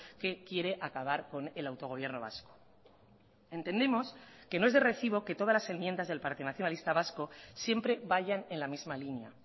que quiere acabar con el autogobierno vasco entendemos que no es de recibo que todas las enmiendas del partido nacionalista vasco siempre vayan en la misma línea